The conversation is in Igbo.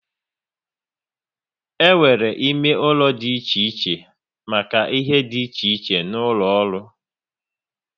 E nwere ime ụlọ dị iche iche make ihe dị iche iche n'ụlọ ọrụ